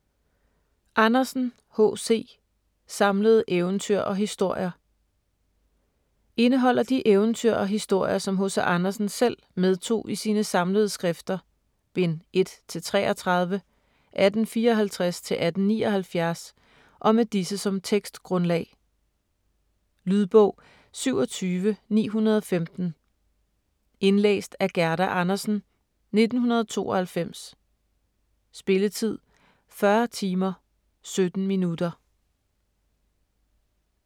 Andersen, H. C.: Samlede eventyr og historier Indeholder de eventyr og historier som H.C. Andersen selv medtog i sine "Samlede skrifter", bind 1-33, 1854-1879 og med disse som tekstgrundlag. Lydbog 27915 Indlæst af Gerda Andersen, 1992. Spilletid: 40 timer, 17 minutter.